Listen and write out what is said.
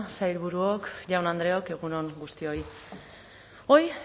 sailburuok jaun andreok egun on guztioi hoy